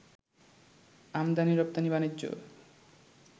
আমদানি-রপ্তানি বাণিজ্য